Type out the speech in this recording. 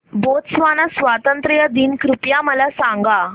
Botswana स्वातंत्र्य दिन कृपया मला सांगा